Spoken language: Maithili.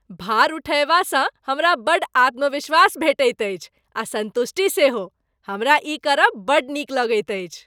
भार उठयबा सँ हमरा बड़ आत्मविश्वास भेटैत अछि आ सन्तुष्टि सेहो। हमरा ई करब बड़ नीक लगैत अछि।